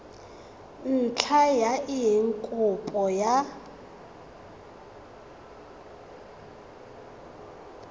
ntlha ya eng kopo ya